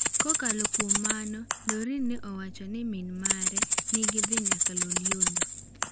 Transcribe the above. Kokalo kuom mano, Doreen ne owacho ni min mare ni gidhi nyaka Loliondo.